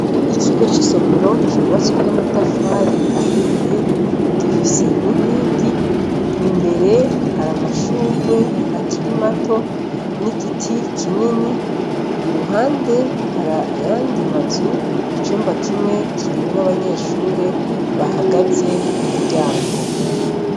Ikigo c'isomero cubatswe n"amatafari ahiye, gifise n'inkingi, imbere hari amashurwe akiri mato n'igiti kinini, iruhande hari ayandi mazu, icumba kimwe kirimwo abanyeshure bahagaze k'umuryango.